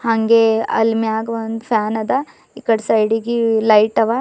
ಅಂಗೇ ಅಲ್ಲಿ ಮ್ಯಾಗ್ ಒಂದ್ ಫ್ಯಾನ್ ಅದ ಇಕಡಿ ಸಿಡಿಗಿ ಲೈಟ್ ಅವ.